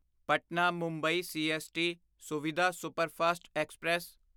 Patna Mumbai CST Suvidha superfast express